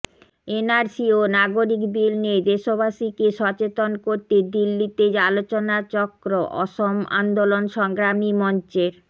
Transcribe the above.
NRC ও নাগরিক bill নিয়ে দেশবাসীকে সচেতন করতে দিল্লিতে আলোচনাচক্ৰ অসম আন্দোলন সংগ্ৰামী মঞ্চের